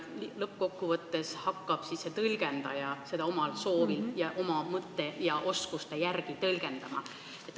Lõppkokkuvõttes hakkab iga tõlgendaja regulatsiooni oma mõtete ja oskuste järgi tõlgendama.